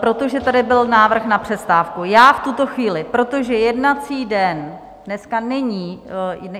Protože tady byl návrh na přestávku, já v tuto chvíli, protože jednací den dneska není...